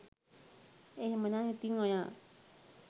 එහෙමනම් ඉතින් ඔයා